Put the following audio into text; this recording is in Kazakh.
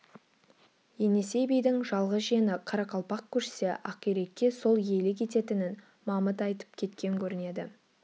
енесей бидің жалғыз жиені қарақалпақ көшсе ақирекке сол иелік ететінін мамыт айтып кеткен көрінеді